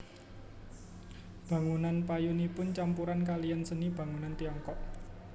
Bangunan payonipun campuran kaliyan seni bangunan Tiongkok